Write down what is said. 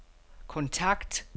kontakt